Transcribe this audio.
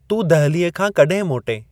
तूं दहलीअ खां कड॒हिं मोटएं ?